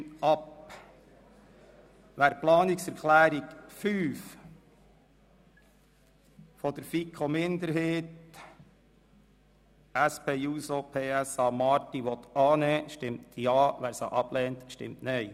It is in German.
Wer die Planungserklärung 5 FiKo-Minderheit und SPJUSO-PSA/Marti annehmen will, stimmt Ja, wer diese ablehnt, stimmt Nein.